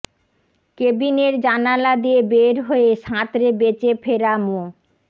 কেবিনের জানালা দিয়ে বের হয়ে সাঁতরে বেঁচে ফেরা মো